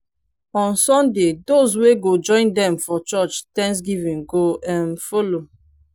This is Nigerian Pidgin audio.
on sunday dose wey go join dem for church thanksgiving go um follow